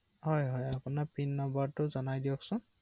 অ অ